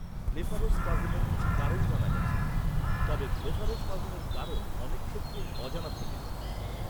ব্লেফারোস্পাজমের কিছু কারণ জানা গেছে। তবে, ব্লেফারোস্পাজমের কারণ অনেক ক্ষেত্রেই অজানা থেকে যায়।